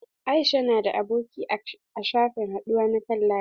Aisha na da aboki a shafin haɗuwa na kan layi.